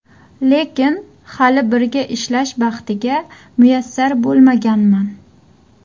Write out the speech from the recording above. Lekin hali birga ishlash baxtiga muyassar bo‘lmaganman.